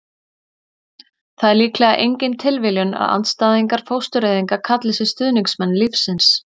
það er líklega engin tilviljun að andstæðingar fóstureyðinga kalli sig stuðningsmenn lífsins